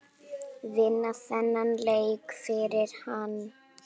Vinna þennan leik fyrir hann!